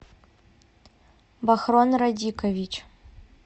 бахрон радикович